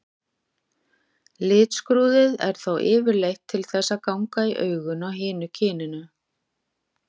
Litskrúðið er þá yfirleitt til þess að ganga í augun á hinu kyninu.